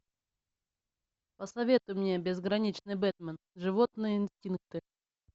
посоветуй мне безграничный бэтмен животные инстинкты